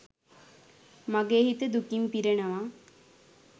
මගේ හිත දුකින් පිරෙනවා.